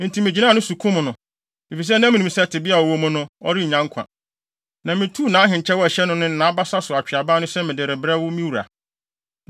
“Enti migyinaa ne so kum no, efisɛ na minim sɛ tebea a ɔwɔ mu no, ɔrennya nkwa. Na mituu nʼahenkyɛw a ɛhyɛ no no ne nʼabasa so atweaban no sɛ mede rebrɛ wo, me wura.”